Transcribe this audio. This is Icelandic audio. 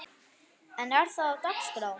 En er það á dagskrá?